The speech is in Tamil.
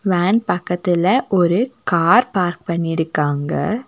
வேன் பக்கத்துல ஒரு கார் பார்க் பண்ணிருக்காங்க.